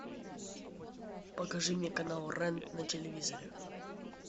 покажи мне канал рен на телевизоре